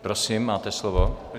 Prosím, máte slovo.